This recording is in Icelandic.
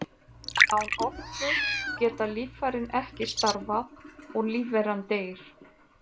Án orku geta líffærin ekki starfað og lífveran deyr.